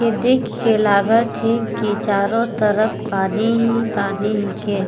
इके देख के लागत हे की चारो तरफ पानी ही पानी हिके।